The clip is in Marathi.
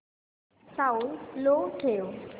साऊंड लो ठेव